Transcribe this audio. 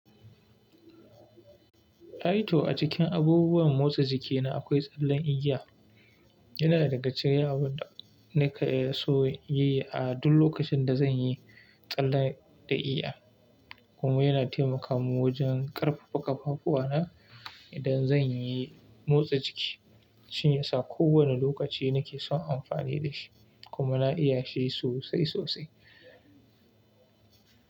Aito a cikin abubuwan motsa jiki na akwai tsallen iya. Yana daga cikin yawan da nake so yi a duk lokacin da zan yi tsallar da igiya Kuma yana taimaka mun wajen ƙarfafa ƙafafu na idan zan yi motsa jiki. Shiyasa kowane lokaci nake son amfani da shi kuma na iya shi sosai sosai.